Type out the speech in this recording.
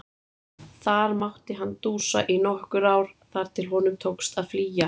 Þar mátti hann dúsa í nokkur ár þar til honum tókst að flýja.